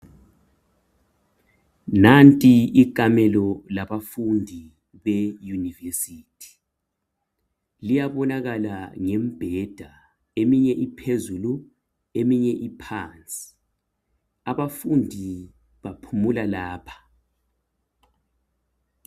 Nanti ikamelo labafundi beyunivesithi. Liyabonakala ngembheda. Eminye iphezulu, eminye iphansi. Abafundi baphumula lapha.